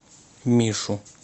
мишу